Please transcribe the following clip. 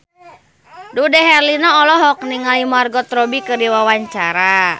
Dude Herlino olohok ningali Margot Robbie keur diwawancara